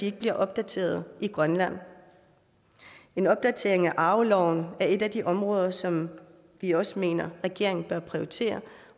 ikke bliver opdateret i grønland en opdatering af arveloven er et af de områder som vi også mener regeringen bør prioritere